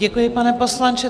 Děkuji, pane poslanče.